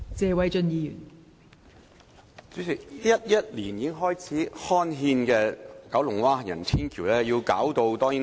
代理主席 ，2011 年已經開始刊憲的九龍灣行人天橋至今還未完成。